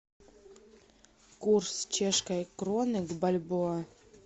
курс чешской кроны к бальбоа